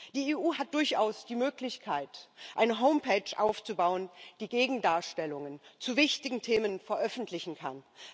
Die EU hat durchaus die Möglichkeit, eine Website aufzubauen, die Gegendarstellungen zu wichtigen Themen veröffentlichen kann.